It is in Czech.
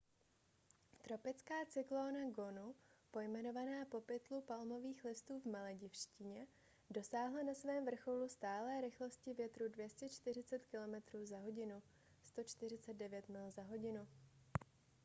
tropická cyklóna gonu pojmenovaná po pytlu palmových listů v maledivštině dosáhla na svém vrcholu stálé rychlosti větru 240 kilometrů za hodinu 149 mil za hodinu